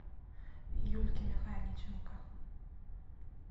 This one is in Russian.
юльке михайличенко